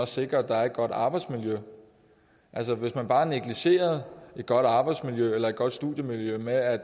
sikre at der er et godt arbejdsmiljø altså at vi bare negligerede et godt arbejdsmiljø eller et godt studiemiljø ved at